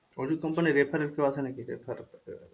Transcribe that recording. ওষুধ company এর refer এর কেও আছে নাকি?